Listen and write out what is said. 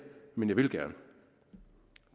men jeg vil gerne